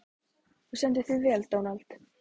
Þú stendur þig vel, Dónald!